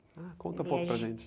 Ah, conta um pouco para a gente.